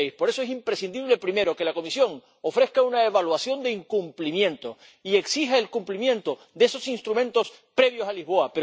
2006. Por eso es imprescindible, primero, que la Comisión ofrezca una evaluación de incumplimiento y exija el cumplimiento de esos instrumentos previos a Lisboa.